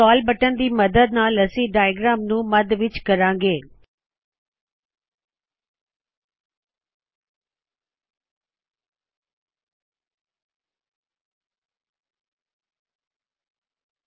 scroll button ਦੀ ਮਦਦ ਨਾਲ ਅਸੀ ਡਾਇਅਗ੍ਰਾਮ ਨੂੰ ਮੱਧ ਵਿੱਚ ਕਰਾੰ ਗੇ